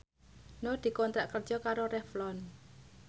Nur dikontrak kerja karo Revlon